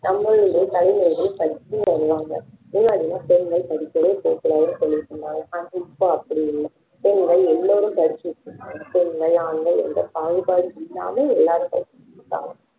நம்ம ஊரிலேயே தலைவர்கள் படிச்சு வருவாங்க முன்னாடி எல்லாம் பெண்கள் படிக்கவே போக கூடாதுன்னு சொல்லிட்டு இருந்தாங்க ஆனா இப்போ அப்படி இல்ல பெண்கள் எல்லோரும் படிச்சு இருக்கணும் பெண்கள் ஆண்கள் எந்த பாகுபாடும் இல்லாமல் எல்லாரும் படிச்சிருக்காங்க